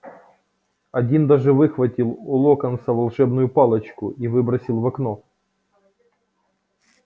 один даже выхватил у локонса волшебную палочку и выбросил в окно